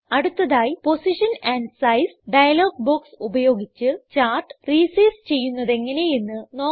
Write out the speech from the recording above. അടുത്തതായി position and size dialog box ഉപയോഗിച്ച് chart resize ചെയ്യുന്നതെങ്ങനെ എന്ന് നോക്കാം